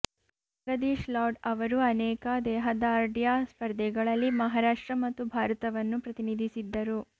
ಜಗದೀಶ್ ಲಾಡ್ ಅವರು ಅನೇಕ ದೇಹದಾಢ್ರ್ಯ ಸ್ಪರ್ಧೆಗಳಲ್ಲಿ ಮಹರಾಷ್ಟ್ರ ಮತ್ತು ಭಾರತವನ್ನು ಪ್ರತಿನಿಧಿಸಿದ್ದರು